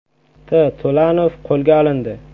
T. To‘lanov qo‘lga olindi.